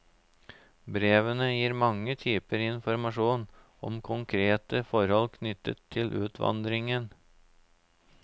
Brevene gir mange typer informasjon om konkrete forhold knyttet til utvandringen.